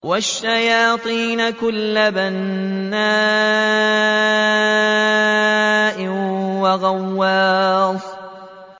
وَالشَّيَاطِينَ كُلَّ بَنَّاءٍ وَغَوَّاصٍ